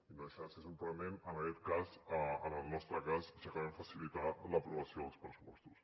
i no deixa de ser sorprenent en aquest cas en el nostre cas ja que vam facilitar l’aprovació dels pressupostos